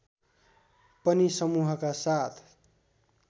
पनि समूहका साथ